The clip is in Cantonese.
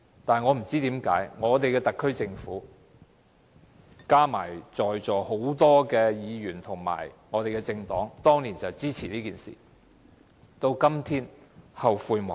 但是，我不知道為甚麼我們的特區政府，加上在座很多議員和政黨當年都支持這樣做，今天後悔莫及。